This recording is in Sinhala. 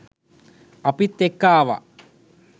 අපිත් එක්ක ආවා.